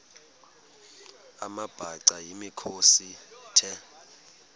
amabhaca yimikhosi the